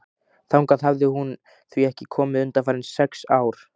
Þangað hafði hún því ekki komið undanfarin sex ár.